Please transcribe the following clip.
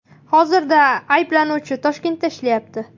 Hozirda ayblanuvchi Toshkentda ishlayapti.